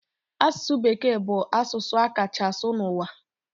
Asụsụ bekee bụ asụsụ a kachaa asụ n'ụwa.